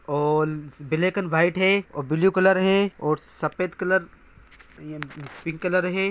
ओल्स black and white है। और blue colour है और सफेद कलर पिंक कलर है।